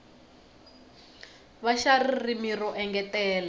va xa ririmi ro engetela